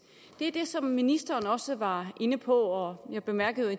er det som ministeren også var inde på og jeg bemærkede